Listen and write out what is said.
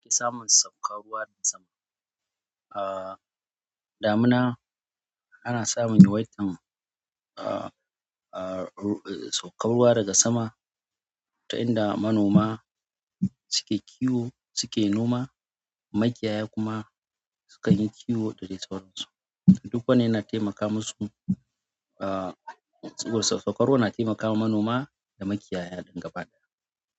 Ke samun saukar ruwa daga sama. Ah, damina ana samun yawaitan, ah, ah, saukar ruwa daga sama ta inda manoma suke kiwo suke noma, makiyaya kuma sukan yi kiwo da dai sauransu. Duk wannan yana taimaka musu, ah, tsugun saukar ruwa na taimakawa manoma da makiyaya gaba ɗaya.